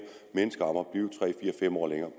mennesker om at blive tre fem år længere